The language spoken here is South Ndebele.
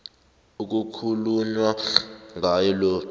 ekukhulunywa ngaye lo